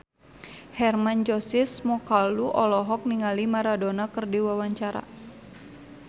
Hermann Josis Mokalu olohok ningali Maradona keur diwawancara